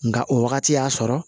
Nka o wagati y'a sɔrɔ